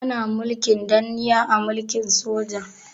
Ana mulkin danniya a mulkin soja.